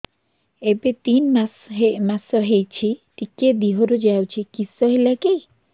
ଏବେ ତିନ୍ ମାସ ହେଇଛି ଟିକିଏ ଦିହରୁ ଯାଉଛି କିଶ ହେଲାକି